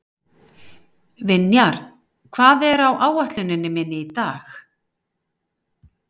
Vinjar, hvað er á áætluninni minni í dag?